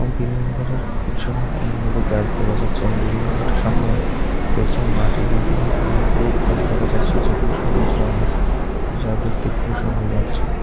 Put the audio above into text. বিল্ডিংগুলোর পিছনে অনেকগুলো গাছ দেখা যাচ্ছে এবং বিল্ডিংগুলোর সামনে রয়েছে মাট এই মাটের মধ্যে অনেক গুলো ঘাস দেখা যাচ্ছে যেগুলো সবুজ রঙের যা দেখতে খুবই সুন্দর লাগছে।